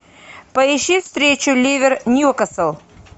поищи встречу ливер ньюкасл